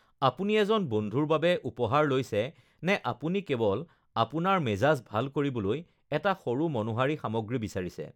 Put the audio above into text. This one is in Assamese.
আপুনি এজন বন্ধুৰ বাবে উপহাৰ লৈছে, নে আপুনি কেৱল আপোনাৰ মেজাজ ভাল কৰিবলৈ এটা সৰু মনোহাৰী সামগ্ৰী বিচাৰিছে?